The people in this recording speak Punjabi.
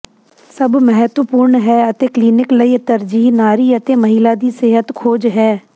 ਸਭ ਮਹੱਤਵਪੂਰਨ ਹੈ ਅਤੇ ਕਲੀਨਿਕ ਲਈ ਤਰਜੀਹ ਨਾਰੀ ਅਤੇ ਮਹਿਲਾ ਦੀ ਸਿਹਤ ਖੋਜ ਹੈ